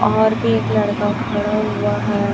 और भी एक लड़का खड़ा हुआ है।